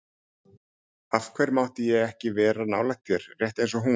Af hverju mátti ég ekki vera nálægt þér, rétt eins og hún?